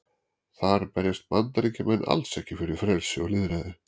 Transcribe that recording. Þar berjast Bandaríkjamenn alls ekki fyrir frelsi og lýðræði.